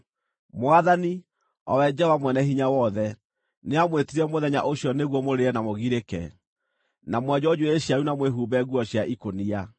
Mwathani, o we Jehova Mwene-Hinya-Wothe, nĩamwĩtire mũthenya ũcio nĩguo mũrĩre na mũgirĩke, na mwenjwo njuĩrĩ cianyu na mwĩhumbe nguo cia ikũnia.